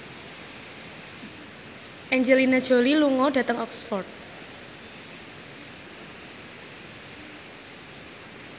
Angelina Jolie lunga dhateng Oxford